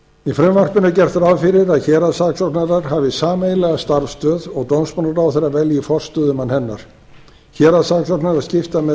í frumvarpinu er gert ráð fyrir að héraðssaksóknarar hafi sameiginlega starfsstöð og dómsmálaráðherra velji forstöðumann hennar héraðssaksóknarar skipta með